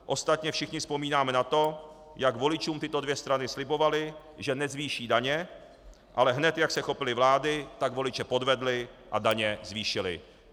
Ostatně všichni vzpomínáme na to, jak voličům tyto dvě strany slibovaly, že nezvýší daně, ale hned jak se chopily vlády, tak voliče podvedly a daně zvýšily.